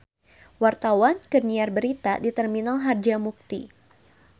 Wartawan keur nyiar berita di Terminal Harjamukti